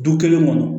Du kelen kɔnɔ